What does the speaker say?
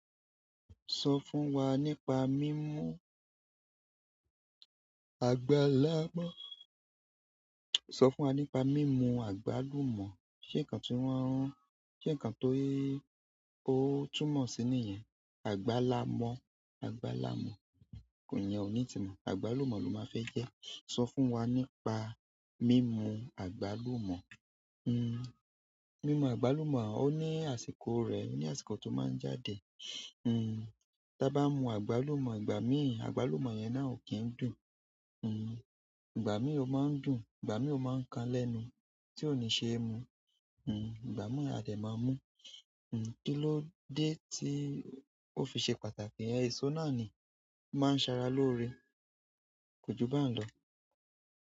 Sọ fún wa nípa mímú àgbàlamọ̀. Sọ fún wa nípa mímú àgbàlumọ̀. Ṣé nǹkan tí wọ́n ń rún? Ṣé nǹkan ti o túmọ̀ sí nìyen? Àgbàlá mọ̀, àgbàlá mọ̀ iyẹn òní ìtumo. Àgbálùmọ̀ ló máa ń fẹ́ jẹ́. Sọ fún wa nípa mímú àgbálùmọ̀. Mímú àgbálùmọ̀ ó ní àsìkò rẹ̀, oní àsìkò tó máa ń jáde. Tabá mú àgbálùmọ̀, ìgbà míì àgbálùmọ̀ yẹn na o kín ń dùn. Ìgbà míì ó máa ń dùn, ìgbà míì ó máa ń kan lẹ́nu tí ò ní ṣe é mu. Ìgbà mi àdẹ̀ máa mú. Kí ló dé tí ó fi ṣe pàtàkì? Èso náà ni o máa ń sara lóore. Kójú bahun lọ.